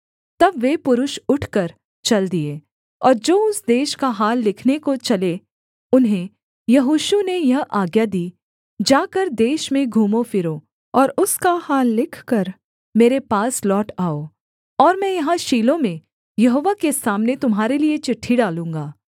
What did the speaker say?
तब वे पुरुष उठकर चल दिए और जो उस देश का हाल लिखने को चले उन्हें यहोशू ने यह आज्ञा दी जाकर देश में घूमो फिरो और उसका हाल लिखकर मेरे पास लौट आओ और मैं यहाँ शीलो में यहोवा के सामने तुम्हारे लिये चिट्ठी डालूँगा